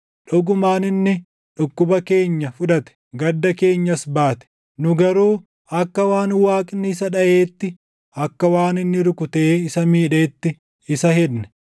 Dhugumaan inni dhukkuba keenya fudhate; gadda keenyas baate; nu garuu akka waan Waaqni isa dhaʼeetti, akka waan inni rukutee isa miidheetti isa hedne.